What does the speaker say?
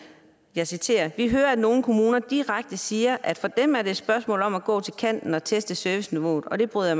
jeg citerer vi hører at nogle kommuner direkte siger at for dem er det et spørgsmål om at gå til kanten og teste serviceniveauet og det bryder